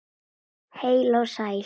Heil og sæl.